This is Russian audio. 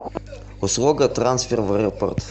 услуга трансфер в аэропорт